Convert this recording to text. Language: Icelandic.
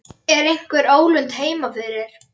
Er einhver ólund heima fyrir?